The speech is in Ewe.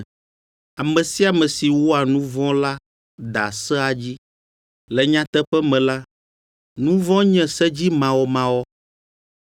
Ame sia ame si wɔa nu vɔ̃ la da sea dzi. Le nyateƒe me la, nu vɔ̃ nye sedzimawɔmawɔ.